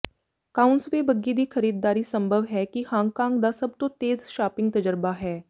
ਕਾਉਂਸਵੇ ਬੱਗੀ ਦੀ ਖਰੀਦਦਾਰੀ ਸੰਭਵ ਹੈ ਕਿ ਹਾਂਗਕਾਂਗ ਦਾ ਸਭ ਤੋਂ ਤੇਜ਼ ਸ਼ਾਪਿੰਗ ਤਜਰਬਾ ਹੈ